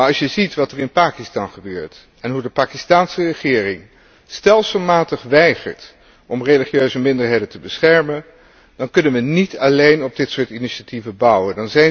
Maar als je ziet wat er in Pakistan gebeurt en hoe de Pakistaanse regering stelselmatig weigert om religieuze minderheden te beschermen, dan kunnen we niet alleen op dit soort initiatieven bouwen.